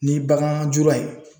Ni bagan jura ye.